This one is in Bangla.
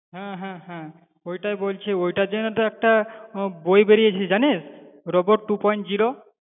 হ্যাঁ হ্যাঁ হ্যাঁ হ্যাঁ ওটাই বলছি, ওটার জন্য তো একটা বই বেরিয়েছে জানিস robot two point zero